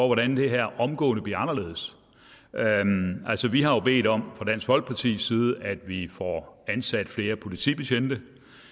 hvordan det her omgående bliver anderledes altså vi har jo bedt om fra dansk folkepartis side at vi får ansat flere politibetjente